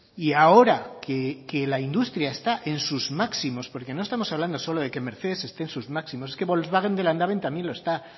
y ahora que la industria está en sus máximos porque no estamos hablando solo de que mercedes esté en sus máximos es que volkswagen de landaben también lo está